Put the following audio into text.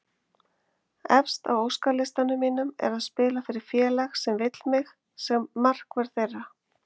Efst á óskalistanum mínum er að spila fyrir félag sem vill mig sem markvörð þeirra.